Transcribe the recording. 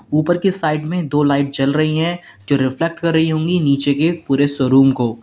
ऊपर के साइड में दो लाइट जल रही हैं जो रिफ्लेक्ट कर रही होंगी नीचे के पूरे शोरूम को।